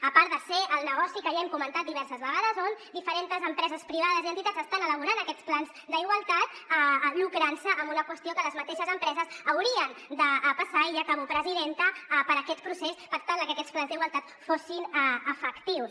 a part de ser el negoci que ja hem comentat diverses vegades on diferents empreses privades i entitats estan elaborant aquests plans d’igualtat lucrant se amb una qüestió que les mateixes empreses haurien de passar i ja acabo presidenta per aquest procés per tal de que aquests plans d’igualtat fossin efectius